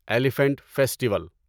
elephant festival